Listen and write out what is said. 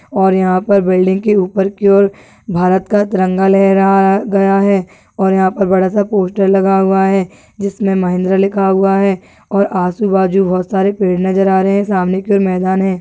और यहां पर बिल्डिंग के ऊपर की ओर भारत का तिरंगा लहराया गया है और यहां पर बड़ा सा पोस्टर लगा हुआ है जिसमे महिंद्रा लिखा हुआ है और आजू बाजु बहुत सारे पेड़ नज़र आ रहे है की और सामने मैदान है।